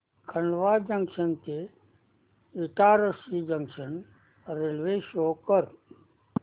Khandwa junction ते Itarsi junction railway show कर